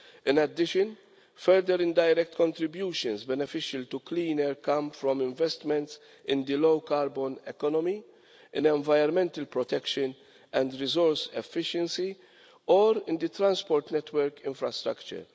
In addition, further indirect contributions beneficial to clean air come from investments in the low carbon economy and environmental protection and resource efficiency, or in the transport network infrastructure.